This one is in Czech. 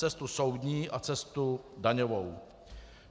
Cestu soudní a cestu daňovou.